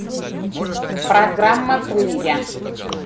программа крылья